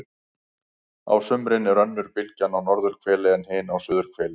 á sumrin er önnur bylgjan á norðurhveli en hin á suðurhveli